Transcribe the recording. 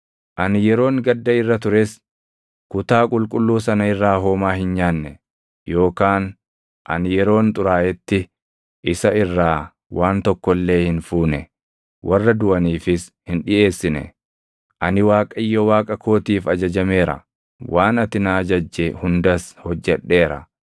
Ani yeroon gadda irra tures kutaa qulqulluu sana irraa homaa hin nyaanne; yookaan ani yeroon xuraaʼetti isa irraa waan tokko illee hin fuune; warra duʼaniifis hin dhiʼeessine; ani Waaqayyo Waaqa kootiif ajajameera; waan ati na ajajje hundas hojjedheera.